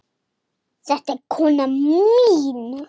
Þetta er konan mín.